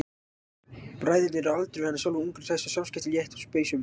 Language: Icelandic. Bræðurnir eru á aldur við hana sjálfa, ungir og hressir og samskiptin létt og spaugsöm.